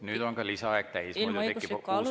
Nüüd on ka lisaaeg täis, muidu tekib juba uus probleem.